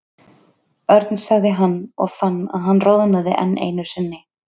Örn sagði hann og fann að hann roðnaði enn einu sinni.